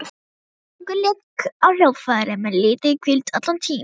Víkingur lék á hljóðfærið með lítilli hvíld allan tímann.